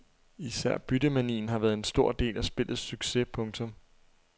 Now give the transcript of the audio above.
Især byttemanien har været en stor del af spillets succes. punktum